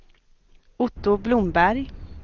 Otto Blomberg